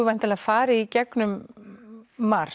væntanlega farið í gegnum margt